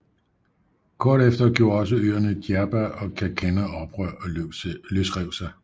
Kort efter gjorde også øerne Djerba og Kerkenna oprør og løsrev sig